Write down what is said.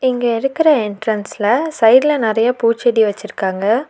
இங்க இருக்கிற என்ட்ரன்ஸ்ல சைட்ல நறைய பூச்செடி வெச்சிருக்காங்க.